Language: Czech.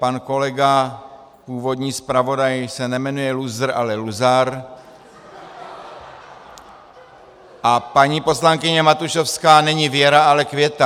Pan kolega původní zpravodaj se nejmenuje Lůzr, ale Luzar a paní poslankyně Matušovská není Věra, ale Květa.